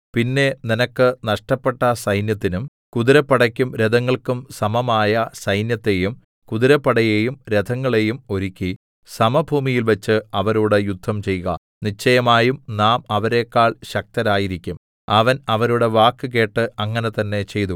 പിന്നെ നിനക്ക് നഷ്ടപ്പെട്ട സൈന്യത്തിനും കുതിരപ്പടെക്കും രഥങ്ങൾക്കും സമമായ സൈന്യത്തെയും കുതിരപ്പടയേയും രഥങ്ങളെയും ഒരുക്കി സമഭൂമിയിൽവെച്ച് അവരോട് യുദ്ധം ചെയ്ക നിശ്ചയമായും നാം അവരെക്കാൾ ശക്തരായിരിക്കും അവൻ അവരുടെ വാക്ക് കേട്ട് അങ്ങനെ തന്നേ ചെയ്തു